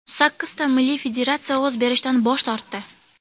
Sakkizta milliy federatsiya ovoz berishdan bosh tortdi.